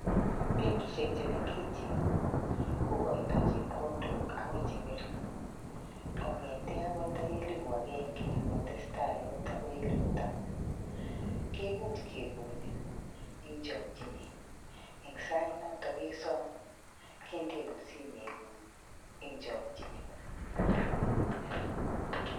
Benkishek chemengechen, kokoitoi chepkondok akoi cheng'ering' kong'ete akot nda elipu agenge akotestai akot akoi elipu taman. Kemuch kekonin eng chokchinet eng sait notok kesom. Kendeun simeng'ung' eng chokchinet.